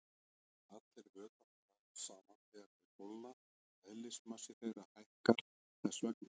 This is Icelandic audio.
Nær allir vökvar dragast saman þegar þeir kólna og eðlismassi þeirra hækkar þess vegna.